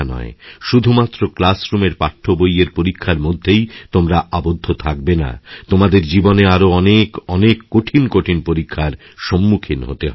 শুধুমাত্র ক্লাসরুমের পাঠ্যবইয়েরপরীক্ষার মধ্যেই তোমরা আবদ্ধ থাকবে না তোমাদের জীবনে আরও অনেক কঠিন কঠিন পরীক্ষারসম্মুখীন হতে হবে